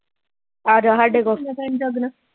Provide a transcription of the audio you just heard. ਆਜਾਂ ਹਾਡੇ ਕੋਲ